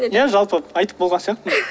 иә жалпы айтып болған сияқтымын